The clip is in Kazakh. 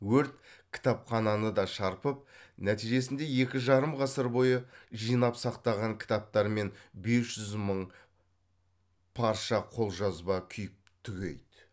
өрт кітапхананы да шарпып нәтижесінде екі жарым ғасыр бойы жинап сақтаған кітаптар мен бес жүз мың парша қолжазба күйіп түгейді